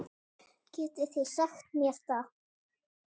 Getið þið sagt mér það?